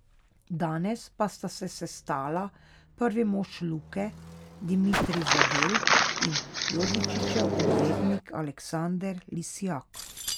Danes pa sta se sestala prvi mož Luke Dimitrij Zadel in Jovičićev odvetnik Aleksander Lisjak.